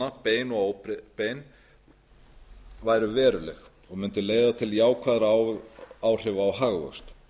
aðgerðarinnar bein og óbein væru veruleg og mundu leiða til jákvæðra áhrifa á hagvöxt